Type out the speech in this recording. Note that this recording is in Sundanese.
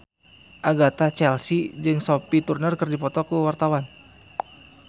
Agatha Chelsea jeung Sophie Turner keur dipoto ku wartawan